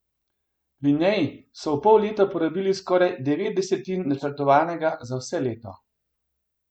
Pri njem so v pol leta porabili skoraj devet desetin načrtovanega za vse leto.